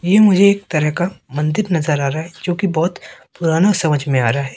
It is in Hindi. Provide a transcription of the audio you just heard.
ये मुझे एक तरह का मंदिर नज़र आ रहा है जो की बहोत पुराना समझ में आ रहा है।